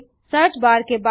googlecoइन और एंटर दबाएँ